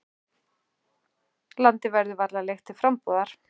Landið verður varla leigt til frambúðar.